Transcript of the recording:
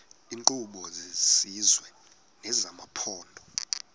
iinkqubo zesizwe nezamaphondo